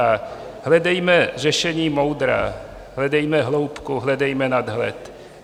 A hledejme řešení moudrá, hledejme hloubku, hledejme nadhled.